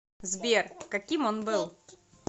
сбер каким он был